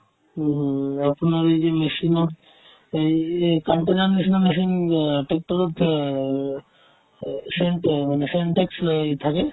উমহুহু, আপোনাৰ এই যে machine ত এই এই machine ৰ machine অ tractor ত অ চিন্তে~ মানে syntax লৈ থাকে